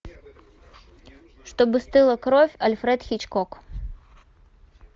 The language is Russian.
чтобы стыла кровь альфред хичкок